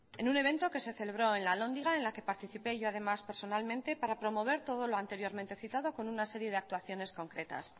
en un evento que se celebró en la alhóndiga en la que participé yo además personalmente para promover todo lo anteriormente citado con una serie de actuaciones concretas